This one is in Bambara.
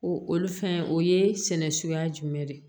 O olu fɛn o ye sɛnɛ suguya jumɛn de ye